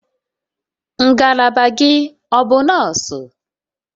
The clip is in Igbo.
Ngalaba gị ọ bụ nọọsụ?